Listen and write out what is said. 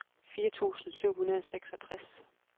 fire tusind syv hundrede og seksogtres